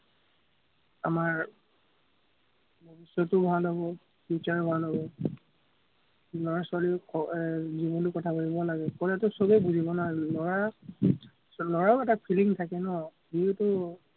আমাৰ চৰিত্ৰ ভাল হ'ব, future ও ভাল হ'ব। ল'ৰা-ছোৱালীৰ ক এৰ জীৱনটোৰ কথা ভাৱিব লাগে, ক'লেতো চবেই বুজিব না, ল'ৰা ল'ৰাৰো এটা feeling থাকে ন, সিও তো